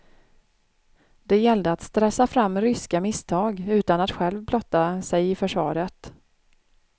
Det gällde att stressa fram ryska misstag, utan att själv blotta sig i försvaret.